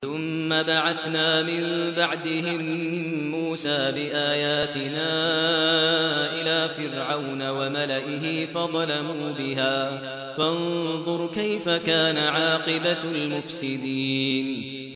ثُمَّ بَعَثْنَا مِن بَعْدِهِم مُّوسَىٰ بِآيَاتِنَا إِلَىٰ فِرْعَوْنَ وَمَلَئِهِ فَظَلَمُوا بِهَا ۖ فَانظُرْ كَيْفَ كَانَ عَاقِبَةُ الْمُفْسِدِينَ